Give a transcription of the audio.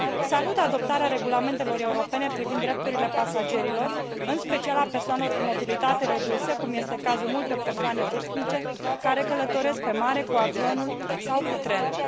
Salut adoptarea regulamentelor europene privind drepturile pasagerilor, în special a persoanelor cu mobilitate redusă, cum este cazul multor persoane vârstnice care călătoresc pe mare, cu avionul sau cu trenul.